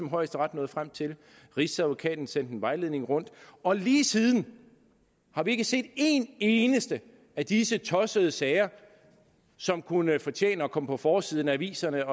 højesteret nåede frem til og rigsadvokaten sendte en vejledning rundt og lige siden har vi ikke set en eneste af disse tossede sager som kunne fortjene at komme på forsiden af aviserne